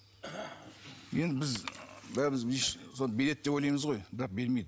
енді біз бәріміз сол береді деп ойлаймыз ғой бірақ бермейді